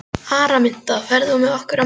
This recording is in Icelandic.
Araminta, ferð þú með okkur á mánudaginn?